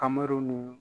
Kamɛruw ni